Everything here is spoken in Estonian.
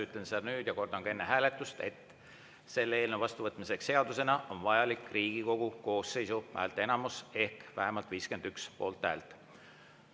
Ütlen seda nüüd ja kordan ka enne hääletust, et selle eelnõu seadusena vastuvõtmiseks on vajalik Riigikogu koosseisu häälteenamus ehk vähemalt 51 poolthäält.